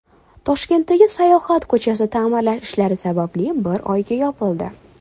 Toshkentdagi Sayohat ko‘chasi ta’mirlash ishlari sababli bir oyga yopildi.